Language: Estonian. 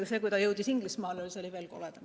Ja see, et ta jõudis Inglismaale, oli veel koledam.